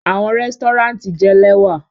Awọn resturant jẹ lẹwa